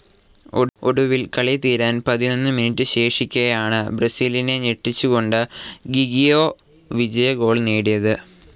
ഒടുവിൽ കളിതീരാൻ പതിനൊന്നു മിനുടെ ശേഷിക്കെയാണ് ബ്രസീലിനെ ‍ഞെട്ടിച്ചുകൊണ്ട് ഗിഗ്ഗിയോ വിജയഗോൾ നേടിയത്.